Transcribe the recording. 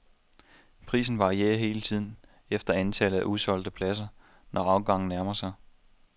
Prisen varierer hele tiden efter antallet af usolgte pladser, når afgangen nærmer sig.